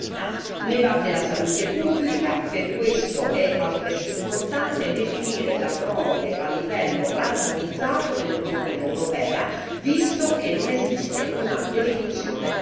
Ne va della salute pubblica per questo è altresì importante definire la frode a livello armonizzato nell'Unione europea, visto che non esiste una definizione comune.